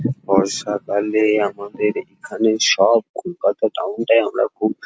বর্ষাকালে-এ আমাদের এখানে সব কলকাতা টাউন -টাই আমরা খুব --